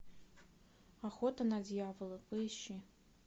охота на дьявола поищи